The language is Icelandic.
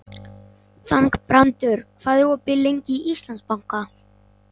Þangbrandur, hvað er opið lengi í Íslandsbanka?